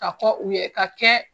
Ka fɔ u ye ka kɛ